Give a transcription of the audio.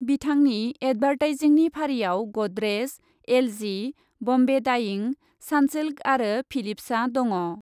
बिथांनि एडभार्टाइजिंनि फारिआव Godrej, L G, Bombay Dyeing, Sunsilk आरो फिलिप्सआ दङ।